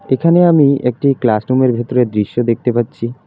এখানে আমি একটি ক্লাসরুমের ভেতরের দৃশ্য দেখতে পাচ্ছি।